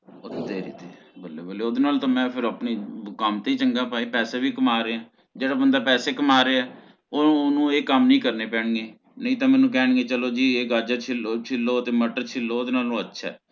ਉਹ ਤੇਰੀ ਦੀ ਬੱਲੇ ਬੱਲੇ ਓਹਦੇ ਨਾਲ ਤਾ ਮੈਂ ਫਿਰ ਆਪਣੇ ਕਮ ਤੇ ਹੀ ਚੰਗਾ ਭਈ ਪੈਸੇ ਵੀ ਕਮਾ ਰਹੀਆਂ। ਜੇਹੜਾ ਬੰਦਾ ਪੈਸੇ ਕਮਾ ਰਿਯਾ ਓਹਨੂੰ ਏਹ ਕਮ ਨੀ ਕਰਨੇ ਪੈਨ ਗੇ ਨੀ ਤਹ ਮੇਨੂ ਕਹਣਗੇ ਚਲੋ ਜੀ ਏਹ ਗਾਜਰ ਛਿੱਲੋ ਛਿਲੋ ਤੇ ਮਟਰ ਛਿਲੋ ਓਹਦੇ ਨਾਲੋਂ ਅੱਛਾ ਹੈ